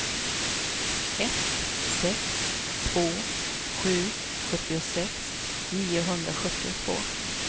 ett sex två sju sjuttiosex niohundrasjuttiotvå